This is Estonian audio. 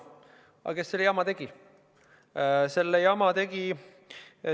Aga kes selle jama tegi?